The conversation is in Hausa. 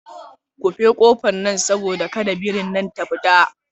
Kufe kofar nan saboda kada birin nan ta fita.